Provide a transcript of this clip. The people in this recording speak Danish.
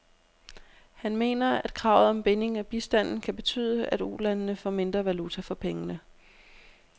Han mener, at kravet om binding af bistanden kan betyde, at ulandene får mindre valuta for pengene.